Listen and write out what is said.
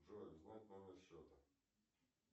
джой узнать номер счета